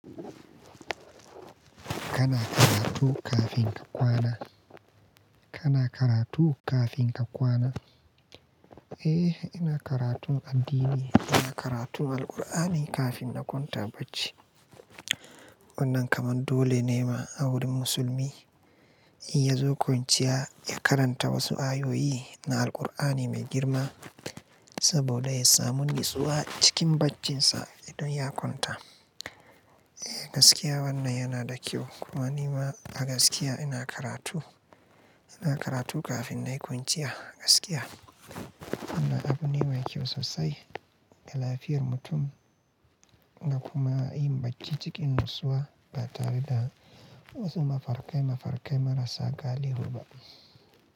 Kana karatu kafin ka kwana? Kana karatu kafin ka kwana? Eh, ina karatun addini. Ina karatun Alqur'ani kafin na kwanta bacci. Wannan kamar dole ne ma a wurin musulmi, idan ya zo kwanciya ya karanta wasu ayoyi na Alqur'ani mai girma saboda ya samu nutsuwa cikin barcin sa idan ya kwanta. Eh gaskiya wannan yana da kyau. Kuma ni ma a gaskiya ina karatu. Ina karatu kafin na yi kwanciya gaskiya. Wannan abu ne mai kyau sosai ga lafiyar mutum da kuma yin barci cikin nutsuwa ba tare da wasu mafarkai-mafarkai marasa galihu ba.